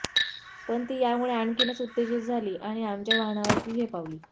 पण ती यामुळे आणखीनच उत्तेजित झाली आणि आमच्या वाहनावर ती झेपावली